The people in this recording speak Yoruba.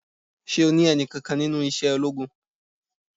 Ṣé o ní ẹni kankan nínú iṣẹ́ ológun?